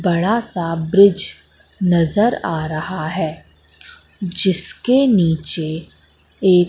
बड़ा सा ब्रिज नजर आ रहा है जिसके नीचे एक--